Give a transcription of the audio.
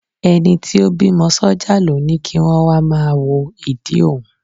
Ẹni tí ó bímọ sọ́jà ló ni kí wọn wá máa wo ìdí òun.